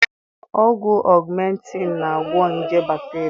Ọgwụ Augmentin na-agwo nje bakteria